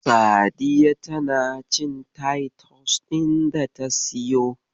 Sadiya tana cin taitus ɗin data siyo.